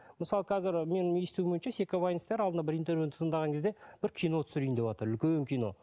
мысалы қазір менің естуім бойынша секавайнстар алдында бір интервьюін тыңдаған кезде бір кино түсірейін деватыр үлкен кино